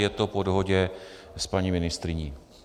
Je to po dohodě s paní ministryní.